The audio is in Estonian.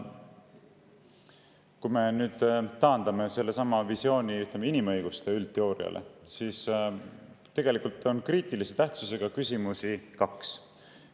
Kui me taandame sellesama visiooni, ütleme, inimõiguste üldteooriale, siis kriitilise tähtsusega küsimusi on tegelikult kaks.